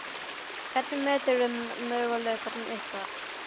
Hvernig meturðu möguleika ykkar?